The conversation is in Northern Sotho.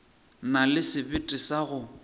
na le sebete sa go